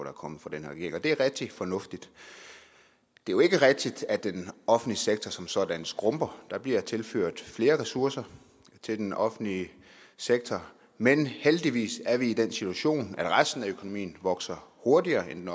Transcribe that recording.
er kommet fra den her regering og det er rigtig fornuftigt det er jo ikke rigtigt at den offentlige sektor som sådan skrumper der bliver tilført flere ressourcer til den offentlige sektor men heldigvis er vi i den situation at resten af økonomien vokser hurtigere end den